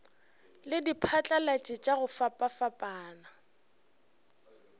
le diphatlalatši tša go fapafapana